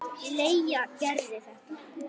Leigja Gerði þetta.